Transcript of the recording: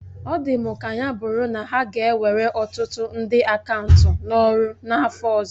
Ọ dị m ka ya bụrụ na ha ga ewere ọtụtụ ndị akaụntụ n'ọrụ n'afọ ọzọ